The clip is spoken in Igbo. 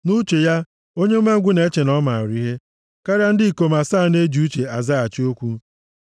Nʼuche ya, onye umengwụ + 26:16 Ya bụ, onye nzuzu na-eche na ọ maara ihe karịa ndị ikom asaa na-eji ezi uche azaghachi okwu.